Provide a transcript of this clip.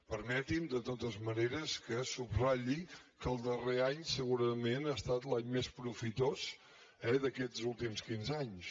permeti’m de totes maneres que subratlli que el darrer any segurament ha estat l’any més profitós eh d’aquests últims quinze anys